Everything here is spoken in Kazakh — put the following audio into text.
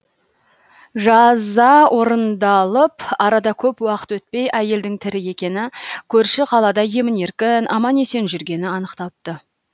жаза орындалып арада көп уақыт өтпей әйелдің тірі екені көрші қалада емін еркін аман есен жүргені анықталыпты